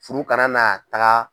Furu kana na taga.